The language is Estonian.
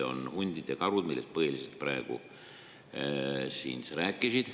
On hundid ja karud, millest sa praegu põhiliselt rääkisid.